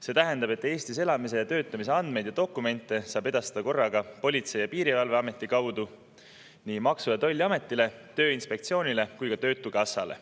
See tähendab, et Eestis elamise ja töötamise andmeid ja dokumente saab edastada korraga Politsei- ja Piirivalveameti kaudu nii Maksu- ja Tolliametile, Tööinspektsioonile kui ka töötukassale.